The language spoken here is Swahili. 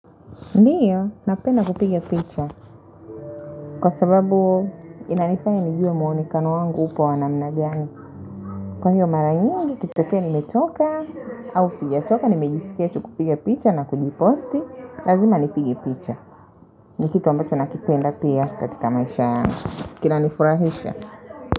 Ndiyo, napenda kupiga picha. Kwa sababu inanifanya nijue muonekano wangu upo wa namna gani. Kwa hiyo mara nyingi, ikitokea nimetoka au sijatoka, nimejisikia tu kupiga picha na kujiposti. Lazima nipige picha. Ni kitu ambacho nakipenda pia katika maisha yangu. Kinanifurahisha.